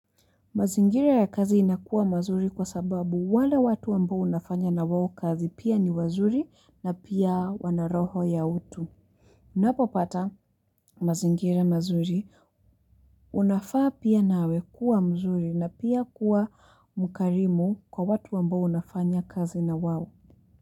Mazingira ya kazi inakuwa mazuri kwa sababu wale watu ambo unafanya na wawo kazi pia ni wazuri na pia wanaroho ya utu. Napopata mazingira mazuri unafaa pia nawe kuwa mzuri na pia kuwa mkarimu kwa watu wambo unafanya kazi na wawo.